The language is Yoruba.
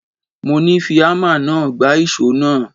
Mo ní Fi ámà náà gbá ìṣó náà.!